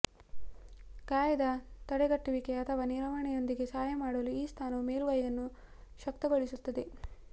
ಗಾಯದ ತಡೆಗಟ್ಟುವಿಕೆ ಅಥವಾ ನಿರ್ವಹಣೆಯೊಂದಿಗೆ ಸಹಾಯ ಮಾಡಲು ಈ ಸ್ಥಾನವು ಮೇಲುಗೈಯನ್ನು ಶಕ್ತಗೊಳಿಸುತ್ತದೆ